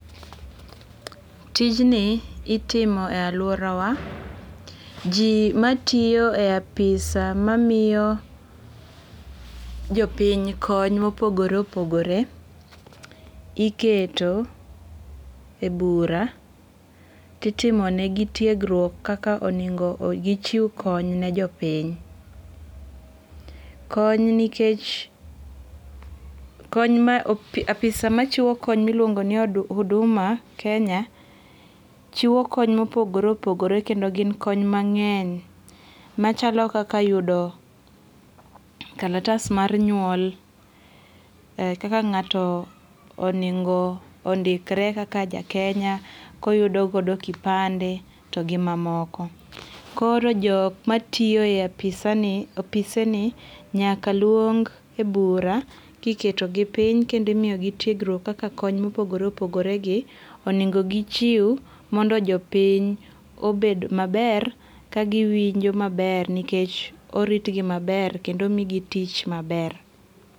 Tijni itimo e aluora wa. Ji matiyo e ofisa mamiyo jopiny kony mopogore opogore iketo e bura titimonegi tiegruok kaka onego gichew kony ne jopiny. Kony nikeck ofisa machiwo kony miluongo ni huduma Kenya chiwo kony mopogore opogore kendo gin kony mang'eny machalo kaka yudo kalatas mar nyuol. Kaka ng'ato onengo ondikre kaka ja Kenya koyudo godo kipande to gi mamoko. Koro jok matiyo e ofise ni nyaka luong e bura kiketo gi piny kendo imiyogi tiegruok kaka kony mopogore opogore gi onego gichiew mondo jopiny obed maber ka giwinjo maber nikech orit gi maber kendo omigi tich maber.